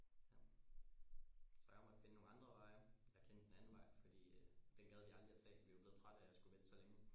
Så jeg måtte finde nogle andre veje jeg kendte en anden vej fordi øh den gad vi aldrig tage fordi vi var blevet trætte af at vente så længe